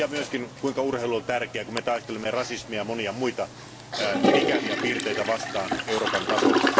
Tiedämme myös, kuinka urheilu on tärkeää, kun me taistelemme rasismia ja monia muita ikäviä piirteitä vastaan Euroopan tasolla.